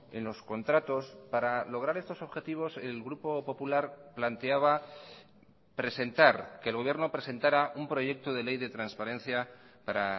en los contratos para lograr estos objetivos el grupo popular planteaba presentar que el gobierno presentara un proyecto de ley de transparencia para